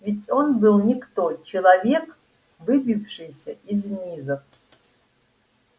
ведь он был никто человек выбившийся из низов